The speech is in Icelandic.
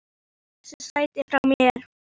Hann stal þessu sæti frá mér!